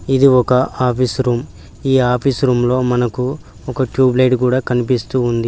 ఇది ఒక office room . ఈ ఆఫీస్ రూమ్లో మనకు ఒక ట్యూబ్ లైట్ గూడా కన్పిస్తూ ఉంది.